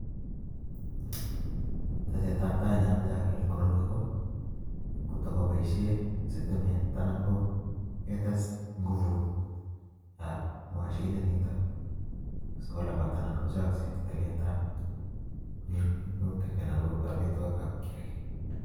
Tesetabtai ne amache ager eng' koroi ko kotko poishe sitimet anan ko ketes nguvut ab machinit nitok sikolapat anan kochaksei tilet minutik anan ko amitwogiik ab kiagiy.